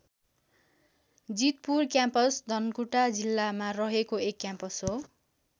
Jeetpur campus Dhankuta जिल्लामा रहेको एक क्याम्पस हो।